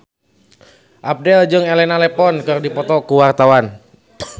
Abdel jeung Elena Levon keur dipoto ku wartawan